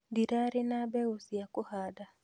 Ndirarĩ na mbegu cia kũhanda